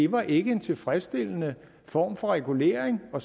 var en tilfredsstillende form for regulering og